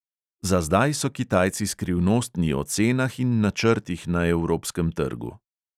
Za zdaj so kitajci skrivnostni o cenah in načrtih na evropskem trgu.